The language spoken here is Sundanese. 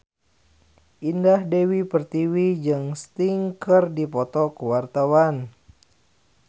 Indah Dewi Pertiwi jeung Sting keur dipoto ku wartawan